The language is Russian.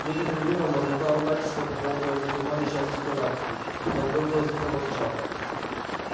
некоторое время он бормотал ругательства по поводу этой туманной части галактики потом громко проворчал